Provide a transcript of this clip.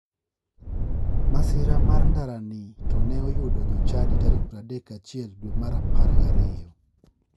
Masira mar ndarani to ne oyudo jochadi tarik 31 dwe mar apar gi ariyo.